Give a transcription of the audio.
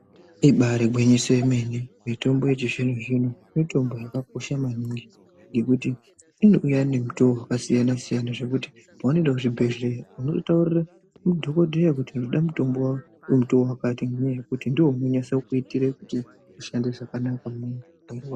ibari gwinyiso yemene mitombo yechizvino-zvino mitombo yakakosha maningi ngekuti inouya nemutoo zvakasiyana-siyana. Zvekuti pavanoenda kuzvibhedhleya vanotaurire madhogodheya kuti ndinoda mutombo vemutoo vakati nenyaya yekuti ndivo unonyase kuitire unoshande zvakanaka.